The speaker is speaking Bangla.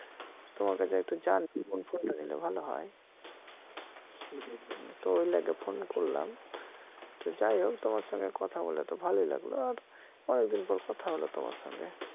তোমাকে যে একটু কোন phone টা নিলে ভাল হয় তো ওই লাইগাই phone করলাম তো যাই হোক তোমার সঙ্গে কথা বইলে তো ভাল লাইগল আর অনেকদিন পর কথা হল তোমার সঙ্গে